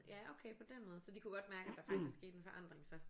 Ja okay på den måde så de kunne godt mærke at der faktisk skete en forandring så?